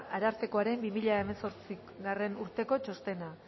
arartekoaren bi mila hemezortzigarrena urteko txostena